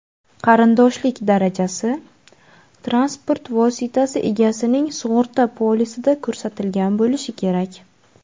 qarindoshlik darajasi) transport vositasi egasining sug‘urta polisida ko‘rsatilgan bo‘lishi kerak.